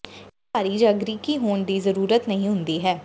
ਇਹ ਭਾਰੀ ਜਾਂ ਗ੍ਰੀਕੀ ਹੋਣ ਦੀ ਜ਼ਰੂਰਤ ਨਹੀਂ ਹੁੰਦੀ ਹੈ